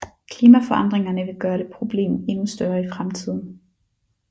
Klimaforandringerne vil gøre det problem endnu større i fremtiden